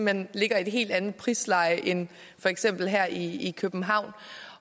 hen ligger i et helt andet prisleje end for eksempel her i københavn